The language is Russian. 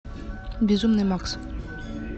безумный макс